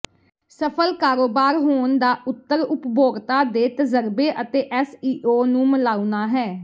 ਸਫਲ ਕਾਰੋਬਾਰ ਹੋਣ ਦਾ ਉੱਤਰ ਉਪਭੋਗਤਾ ਦੇ ਤਜ਼ਰਬੇ ਅਤੇ ਐਸਈਓ ਨੂੰ ਮਿਲਾਉਣਾ ਹੈ